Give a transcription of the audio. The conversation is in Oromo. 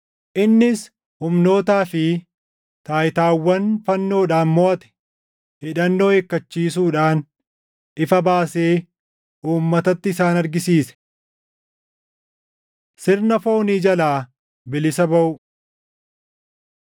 Innis humnootaa fi taayitaawwan fannoodhaan moʼate hidhannoo hiikkachiisuudhaan ifa baasee uummatatti isaan argisiise. Sirna Foonii Jalaa Bilisa Baʼuu